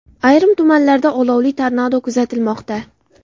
Ayrim tumanlarda olovli tornado kuzatilmoqda.